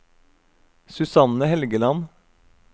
Susanne Helgeland